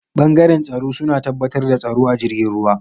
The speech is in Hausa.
bangaren tsaro suna tabbatar da tsaro a jirgin ruwa.